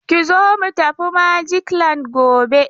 Ki zo mu tafi Magic land gobe!